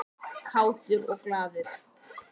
Kátur og glaður.